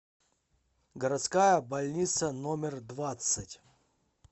городская больница номер двадцать